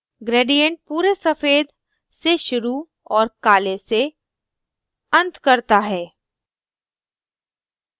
gradient पूरे सफ़ेद से शुरू और काले से अंत करता है